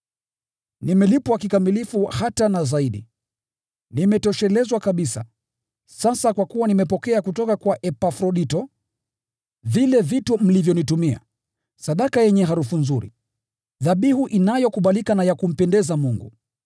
Nimelipwa kikamilifu hata na zaidi; nimetoshelezwa kabisa sasa, kwa kuwa nimepokea kutoka kwa Epafrodito vile vitu mlivyonitumia, sadaka yenye harufu nzuri, dhabihu inayokubalika na ya kumpendeza Mungu.